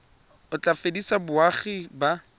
o tla fedisa boagi ba